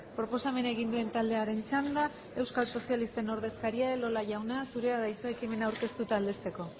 proposamena egin duen taldearen txanda euskal sozialisten ordezkaria elola jauna zurea da hitza ekimena aurkeztu eta aldezteko